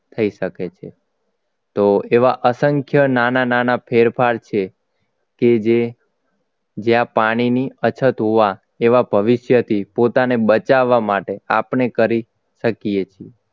થઈ શકે છે તો એવા અસંખ્ય નાના નાના ફેરફાર છે કે જે જ્યાં પાણીની અછત હોવા એવા ભવિષ્યથી બચાવવા માટે આપણે કરી શકીએ છીએ